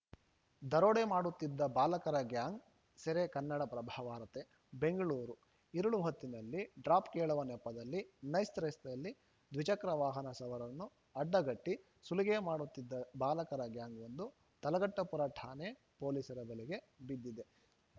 ದರೋಡೆ ಮಾಡುತ್ತಿದ್ದ ಚಾಲಕರ ಗ್ಯಾಂಗ್‌ ಸೆರೆ ಕನ್ನಡಪ್ರಭ ವಾರ್ತೆ ಬೆಂಗಳೂರು ಇರುಳಿ ಹೊತ್ತಿನಲ್ಲಿ ಡ್ರಾಪ್‌ ಕೇಳುವ ನೆಪದಲ್ಲಿ ನೈಸ್‌ ರಸ್ತೆಯಲ್ಲಿ ದ್ವಿಚಕ್ರ ವಾಹನ ಸವಾರರನ್ನು ಅಡ್ಡಗಟ್ಟಿಸುಲಿಗೆ ಮಾಡುತ್ತಿದ್ದ ಬಾಲಕರ ಗ್ಯಾಂಗ್‌ವೊಂದು ತಲಘಟ್ಟಪುರ ಠಾಣೆ ಪೊಲೀಸರ ಬಲೆಗೆ ಬಿದ್ದಿದೆ